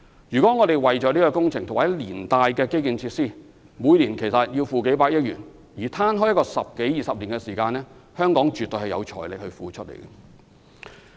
如果我們將這項工程和連帶的基建設施的費用攤分十多二十年，每年則只需支付數百億元，香港絕對有財力應付。